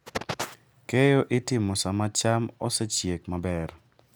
Keyo itimo sama cham osechiek maber.